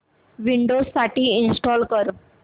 Windows साठी install कर